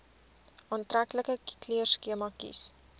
aantreklike kleurskema kies